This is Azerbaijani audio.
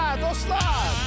Hə, dostlar!